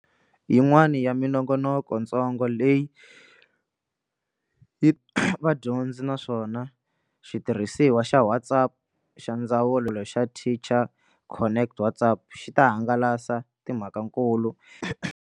Yin'wana ya minongonokontsongo leyi yi vadyondzi naswona xitirhisiwa xa WhatsApp xa Ndzawulo xa Teacher Connect WhatsApp xi ta hangalasa timhakankulu.